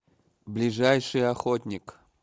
ближайший охотник